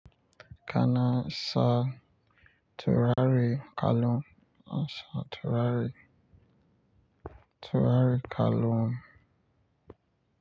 Kana sa turare kalon, sa turare, turare kalon.